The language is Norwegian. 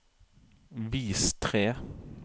vis tre